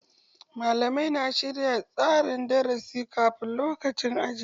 Malamai na shirya tsarin darasi kafin lokacin aji.